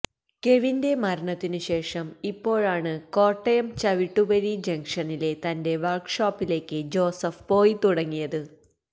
കെവിന്റെ മരണത്തിനു ശേഷം ഇപ്പോഴാണ് കോട്ടയം ചവിട്ടുവരി ജങ്ഷനിലെ തന്റെ വർക്ഷോപ്പിലേക്ക് ജോസഫ് പോയി തുടങ്ങിയത്